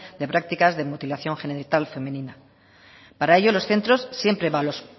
de prácticas de mutilación genital femenina para ello los centros siempre